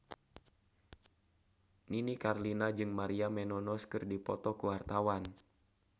Nini Carlina jeung Maria Menounos keur dipoto ku wartawan